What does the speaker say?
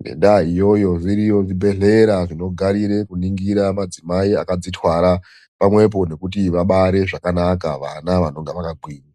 Ngenda iyoyo zviriyo zvibhedhlera zvinomirira kutarisa madzimai anenge akazvitwara pamwepo nekuti vabare zvakanaka vana vanonga vakagwinya.